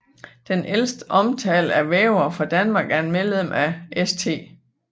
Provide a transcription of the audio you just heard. Den ældste omtale af vævere fra Danmark er et medlem af St